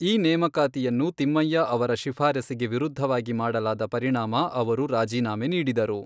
ಈ ನೇಮಕಾತಿಯನ್ನು ತಿಮ್ಮಯ್ಯ ಅವರ ಶಿಫಾರಸಿಗೆ ವಿರುದ್ಧವಾಗಿ ಮಾಡಲಾದ ಪರಿಣಾಮ ಅವರು ರಾಜೀನಾಮೆ ನೀಡಿದರು.